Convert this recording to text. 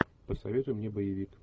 посоветуй мне боевик